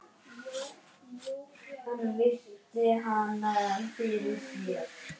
Ég man ekki betur.